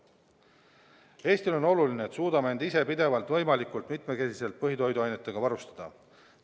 Eestile on oluline, et suudame end ise pidevalt võimalikult mitmekesiselt põhitoiduainetega varustada.